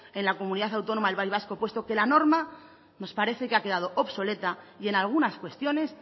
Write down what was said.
en la comunidad autónoma al país vasco puesto que la norma nos parece que ha quedado obsoleta y en algunas cuestiones